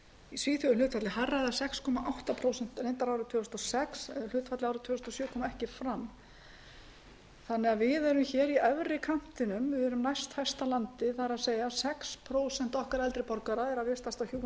í svíþjóð er hlutfallið hærra eða sex komma átta prósent árið tvö þúsund og sex en ekki kom fram hlutfallið árið tvö þúsund og sjö við eru í efri kantinum við erum næsthæsta landið það er sex prósent okkar eldri borgara eru að vistast á hjúkrunarrýmum árið tvö